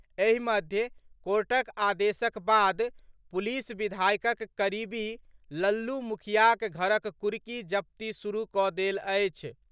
एहि मध्य कोर्टक आदेशक बाद पुलिस विधायकक करीबी लल्लू मुखियाक घरक कुर्की जब्ती शुरू कऽ देल अछि।